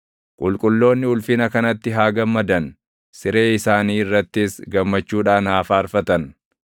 Qulqulloonni ulfina kanatti haa gammadan; siree isaanii irrattis gammachuudhaan haa faarfatan.